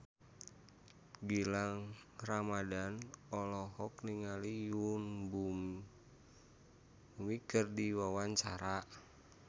Gilang Ramadan olohok ningali Yoon Bomi keur diwawancara